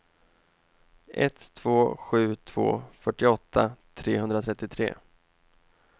ett två sju två fyrtioåtta trehundratrettiotre